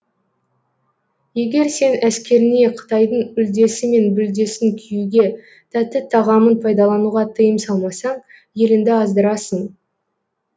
егер сен әскеріңе қытайдың үлдесі мен бүлдесін киюге тәтті тағамын пайдалануға тыйым салмасаң елінді аздырасың